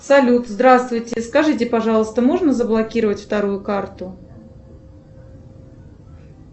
салют здравствуйте скажите пожалуйста можно заблокировать вторую карту